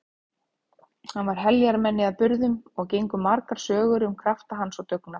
Hann var heljarmenni að burðum og gengu margar sögur um krafta hans og dugnað.